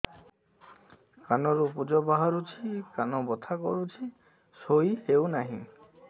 କାନ ରୁ ପୂଜ ବାହାରୁଛି କାନ ବଥା କରୁଛି ଶୋଇ ହେଉନାହିଁ